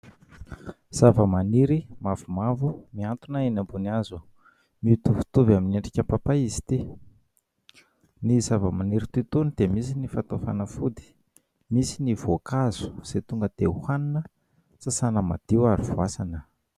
Zavamaniry mavomavo mihantona eny ambony hazo, mitovitovy amin'ny endrika papay izy ity. Ny zavamaniry toy itony dia misy ny fatao fanafody, misy ny voankazo izay tonga dia hohanina, sasana madio ary voasana.